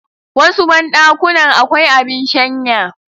Wasu banɗakunan akwai abin shanya